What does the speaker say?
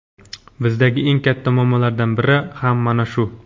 Bizdagi eng katta muammolardan biri ham mana shu.